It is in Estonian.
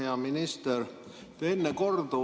Hea minister!